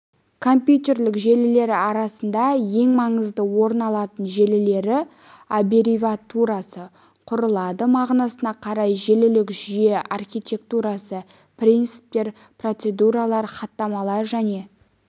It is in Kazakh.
компьютерлік желілер арасында ең маңызды орын алатын желілері аббревиатурасы құрылады мағынасына қарай желілік жүйе архитектурасы принциптер процедуралар хаттамалар және